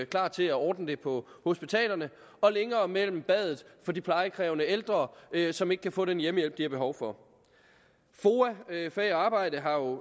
klar til at ordne det på hospitalerne og længere mellem badet for de plejekrævende ældre som ikke kan få den hjemmehjælp som de har behov for foa fag og arbejde har jo